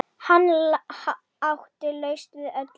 Hann átti lausn við öllu.